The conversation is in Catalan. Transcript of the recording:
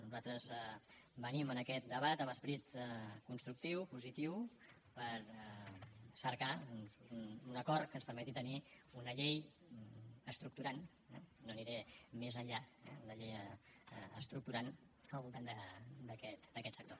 nosaltres venim en aquest debat amb esperit constructiu positiu per cercar un acord que ens permeti tenir una llei estructurant eh no aniré més enllà una llei estructurant al voltant d’aquest sector